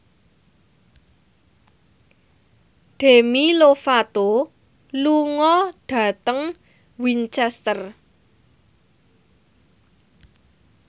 Demi Lovato lunga dhateng Winchester